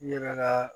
N yɛrɛ ka